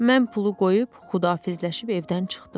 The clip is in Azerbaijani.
Mən pulu qoyub Xudahafizləşib evdən çıxdım.